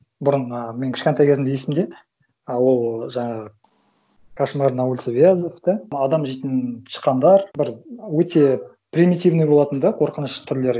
бұрын ы мен кішкентай кезімде есімде ы ол жаңағы кошмар на улице вязов да адам жейтін тышқандар бір өте примитивный болатын да қорқыныш түрлері